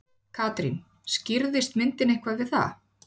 Katrín, skýrðist myndin eitthvað við það?